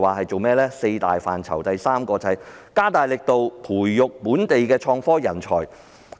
在四大範疇中，第三個是加大力度培育本地創科人才。